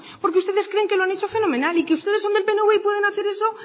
porque ustedes creen que lo han hecho fenomenal y que ustedes son del pnv y pueden hacer eso